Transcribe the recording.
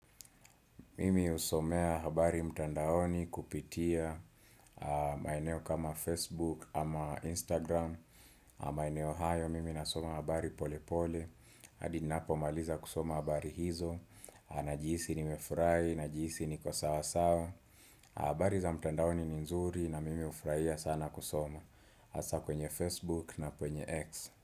Mimi husomea habari mtandaoni kupitia maeneo kama Facebook ama Instagram A maeneo hayo mimi nasoma habari pole pole hadi ni na po maliza kusoma habari hizo Najihisi nimefurahi, najihisi niko sawa sawa habari za mtandaoni ni nzuri na mimi hufurahia sana kusoma hasa kwenye Facebook na kwenye X.